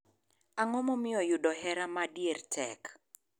Ang'o momiyo yudo hera madier tek?